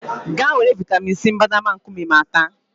Gaa were vịatamin C mbadamba nkume ma ta!